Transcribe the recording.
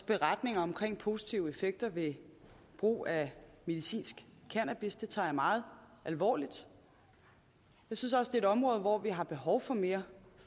beretninger om positive effekter ved brug af medicinsk cannabis det tager jeg meget alvorligt jeg synes også et område hvor vi har behov for mere